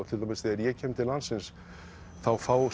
til dæmis þegar ég kem til landsins þá fá